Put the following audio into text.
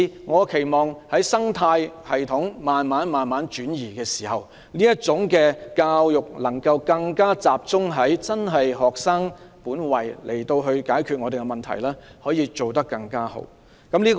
我期望隨着生態系統慢慢轉移，教師能夠更集中在學生身上，更妥善解決各種教育問題。